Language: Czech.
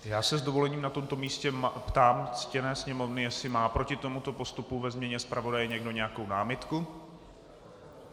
Já se s dovolením na tomto místě ptám ctěné Sněmovny, jestli má proti tomuto postupu ve změně zpravodaje někdo nějakou námitku.